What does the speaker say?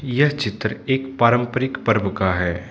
यह चित्र एक पारंपारिक पर्व का है।